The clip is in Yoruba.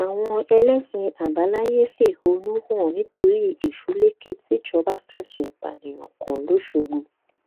àwọn ẹlẹsìn àbáláyé fẹhónú hàn nítorí ẹsùlẹkẹ tìjọba fẹsùn ìpànìyàn kan lọṣọgbọ